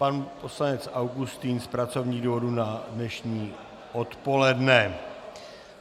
Pan poslanec Augustin z pracovních důvodů na dnešní odpoledne.